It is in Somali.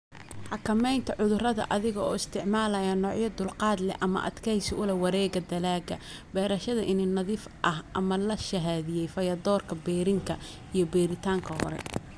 "Xakamaynta cudurrada adiga oo isticmaalaya noocyo dulqaad leh ama adkaysi u leh, wareegga dalagga, beerashada iniin nadiif ah ama la shahaadiyey, fayadhowrka berrinka iyo beeritaanka hore."